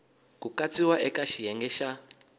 ku katsiwa eka xiyenge xa